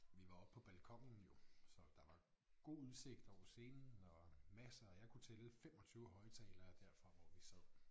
Vi var oppe på balkonen jo så der var god udsigt over scenen og masser jeg kunne tælle 25 højtalere derfra hvor vi sad